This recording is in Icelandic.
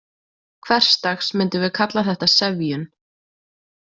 Hversdags myndum við kalla þetta sefjun.